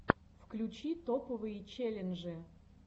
включи топовые челленджи